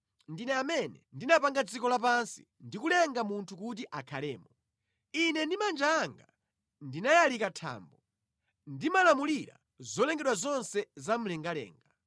Ndine amene ndinapanga dziko lapansi ndikulenga munthu kuti akhalemo. Ine ndi manja anga ndinayalika thambo; ndimalamulira zolengedwa zonse za mlengalenga.